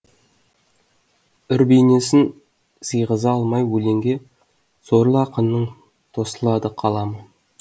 үр бейнесін сыйғыза алмай өлеңге сорлы ақынның тосылады қаламы